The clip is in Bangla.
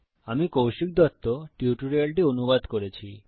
আমি কৌশিক দত্ত টিউটোরিয়ালটি অনুবাদ করেছি